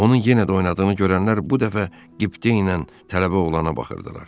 Onun yenə də oynadığını görənlər bu dəfə qibtə ilə tələbə oğlana baxırdılar.